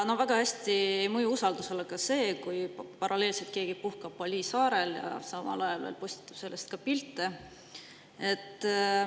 Väga hästi ei mõju usaldusele ka see, kui paralleelselt keegi puhkab Bali saarel, samal ajal veel postitab sellest pilte.